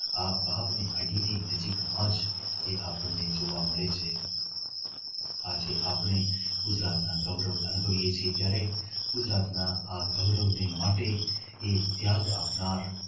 આ વાવને અડીને નજીકમાં જ જે આપણને જોવા મળે છે આજે આપણે ગુજરાતના ગૌરવ જોઈએ છીએ ત્યારે ગુજરાતના ગૌરવને માટે એ ત્યાગ આપનાર